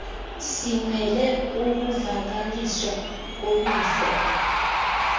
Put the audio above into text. simele ukuvakaliswa koluvo